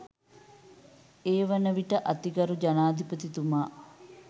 ඒවන විට අතිගරු ජනාධිපතිතුමා